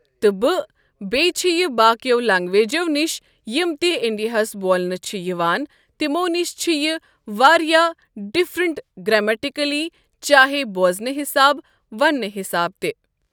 تہٕ بہٕ بیٚیہِ چھ یہِ باقیو لنگویجو نِش یِم تہِ اِنڈیاہَس بولنہٕ چھِ یِوان تِمو نِش چھ یہِ واریاہ ڈفرنٛٹ گرٛیمٹِکٔلی چاہے بوزنہٕ حِساب ونٛنہٕ حِساب تہِ۔